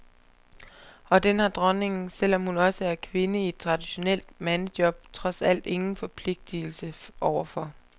Og den har dronningen, selvom hun også er kvinde i et traditionelt mandejob, trods alt ingen forpligtigelse over for.